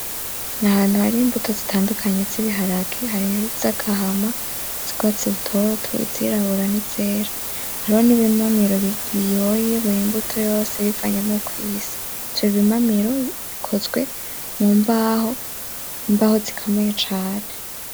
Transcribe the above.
Ni ahantu hari imbuto zitandukanye z'ibiharage. Harimwo izagahama, izurwatsi rutoto, izirabura n'izera. Hariho n'ibimamiro biyoye bur'imbuto yose bivanye n'uko isa. Ivyo bimamiro bikozwe mu mbaho zikomeye cane.